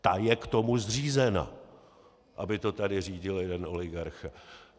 Ta je k tomu zřízena, aby to tady řídil jeden oligarcha.